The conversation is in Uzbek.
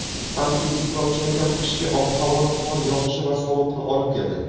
Antitsiklon chinakam qishki ob-havoni qor yog‘ishi va sovuqni olib keldi.